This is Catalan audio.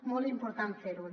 molt important fer ho